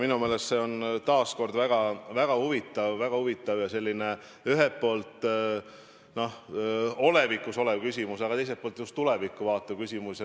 Minu meelest on see taas kord väga huvitav ja selline ühel poolt olevikus olev küsimus, aga teiselt poolt just tulevikku vaatav küsimus.